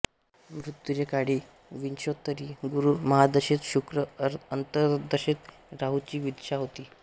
मृत्यूचे काळी विंशोत्तरी गुरु महादशेत शुक्र अंतर्दशेत राहूची विदशा होती